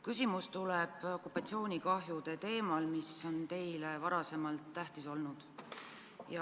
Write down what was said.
Küsimus tuleb okupatsioonikahjude teemal, mis on teile varasemalt tähtis olnud.